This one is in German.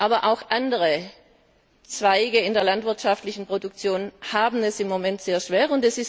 Aber auch andere Zweige in der landwirtschaftlichen Produktion haben es im Moment sehr schwer.